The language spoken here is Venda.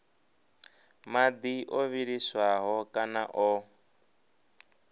madi o vhiliswaho kana o